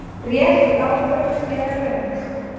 Rétt ákvörðun eða röng?